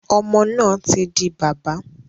Ọmọ náà tí di bábà.